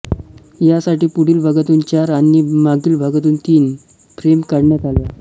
यासाठी पुढील भागातून चार आणि मागील भागातून तीन फ्रेम काढण्यात आल्या